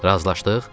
Razılaşdıq?